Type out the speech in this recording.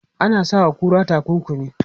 Ana sa wa kura takunkumi.